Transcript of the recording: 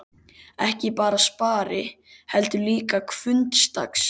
Ekki bara spari, heldur líka hvunndags.